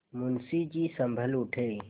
मुंशी जी सँभल उठे